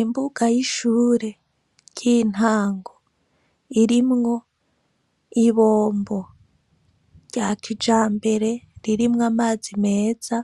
Imbuga y'ishure ry'intango. Irimwo ibombo rya kijambere, ririmwo amazi meza